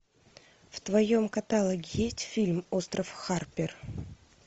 в твоем каталоге есть фильм остров харпер